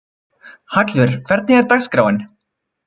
Hallvör, hvernig er dagskráin?